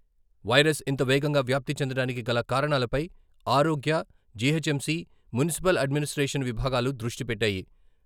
Virus ఇంత వేగంగా వ్యాప్తి చెందడానికి గల కారణాలపై ఆరోగ్య, జీహెచ్ఎంసీ, మున్సిపల్ అడ్మినిస్ట్రేషన్ విభాగాలు దృష్టి పెట్టాయి.